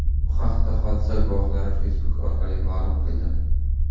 Bu haqda hodisa guvohlari Facebook orqali ma’lum qildi .